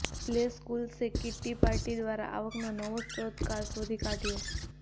play સ્કૂલ્સે kiddie party દ્વારા આવકનો નવો સ્રોત શોધી કાઢ્યો